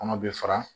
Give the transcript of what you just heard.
Kɔnɔ bɛ fara